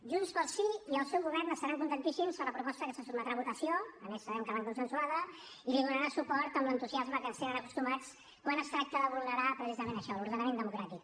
junts pel sí i el seu govern estaran contentíssims de la proposta que se sotmetrà a votació a més sabem que l’han consensuada i li donarà suport amb l’entusiasme a què ens tenen acostumats quan es tracta de vulnerar precisament això l’ordenament democràtic